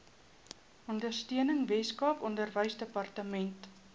ondersteuning weskaap onderwysdepartement